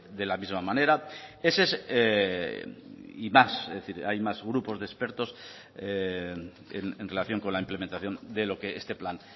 de la misma manera y más es decir hay más grupos de expertos en relación con la implementación de lo que este plan